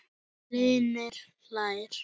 Hlynur hlær.